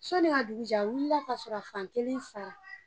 Soni ka dugu jɛ a wulila kasɔrɔ a fan kelen faga